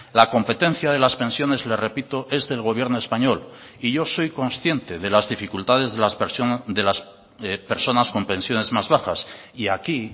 la competencia de las pensiones le repito es del gobierno español y yo soy consciente de las dificultades de las personas con pensiones más bajas y aquí